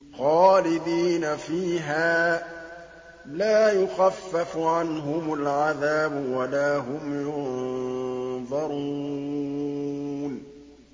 خَالِدِينَ فِيهَا ۖ لَا يُخَفَّفُ عَنْهُمُ الْعَذَابُ وَلَا هُمْ يُنظَرُونَ